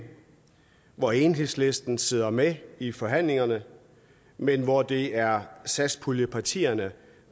hvor enhedslisten sidder med i forhandlingerne men hvor det er satspuljepartierne